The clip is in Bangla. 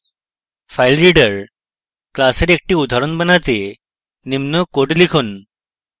filereader class এর একটি উদাহরণ বানাতে নিম্ন code লিখুন